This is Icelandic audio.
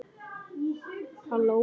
Mér finnst hann frábær.